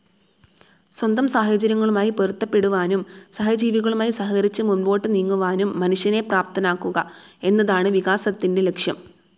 സ്വന്തം സാഹചര്യങ്ങളുമായി പൊരുത്തപ്പെടുവാനും സഹജീവികളുമായി സഹകരിച്ച് മുമ്പോട്ട് നീങ്ങുവാനും മനുഷ്യനെ പ്രാപ്തനാക്കുക എന്നതാണ് വികാസത്തിൻ്റെ ലക്ഷ്യം.